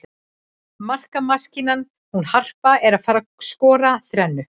Markamaskínan hún Harpa er að fara skora þrennu.